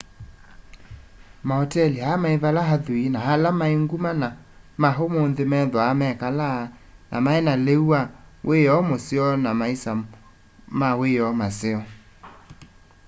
maoteli aa mai vala athui na ala mai nguma ma umunthi methwa mekalaa na maina liu wa wioo museo na maisa ma wioo maseo